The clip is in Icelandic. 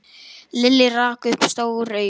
Lilli rak upp stór augu.